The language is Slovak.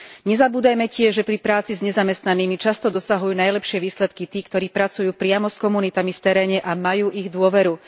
Nezabúdajme tiež, že pri práci s nezamestnanými často dosahujú najlepšie výsledky tí, ktorí pracujú priamo s komunitami v teréne a majú ich dôveru.